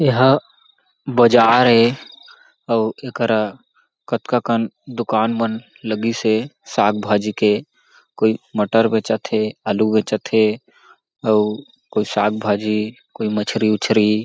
एहाँ बाजार ए अउ एकरा कतका कन दुकान मन लगिस हें साग भाजी के कोई मटर बेचत हे आलू बेचत हे अउ कोई साग भाजी कोई मछरी -उछरि--